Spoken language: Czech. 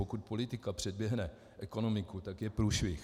Pokud politika předběhne ekonomiku, tak je průšvih.